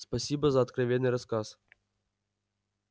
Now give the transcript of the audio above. спасибо за откровенный рассказ